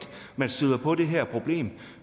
man støder på det her problem